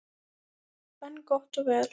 En gott og vel.